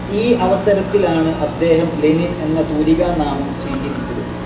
ഈ അവസരത്തിലാണ്‌ അദ്ദേഹം ലെനിൻ എന്ന തൂലികാ നാമം സ്വീകരിച്ചത്‌.